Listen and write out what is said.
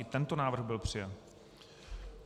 I tento návrh byl přijat.